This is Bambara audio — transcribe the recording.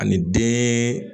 Ani den